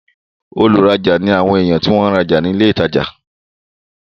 olùrajà ni àwọn èèyàn tí wọ́n ń rajà ní ilé ìtajà